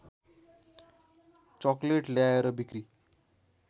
chocolate ल्याएर बिक्री